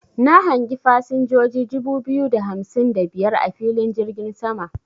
Na hangi fasinjoji dubu biyu da hamsin da biyar a filin jirgin sama.